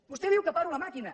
vostè diu que paro la màquina